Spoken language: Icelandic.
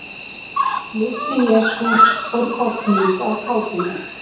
Litli-Jesús fór kollhnís af kátínu.